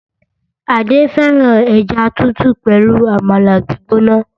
Adé fẹ́ràn ẹja tútù pẹ̀lú Àmàlà gbígbóná